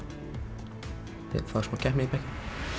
fá smá keppni í bekkinn